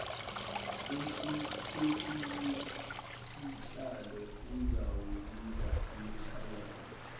umgcinisihlalo uzawubiza imihlangano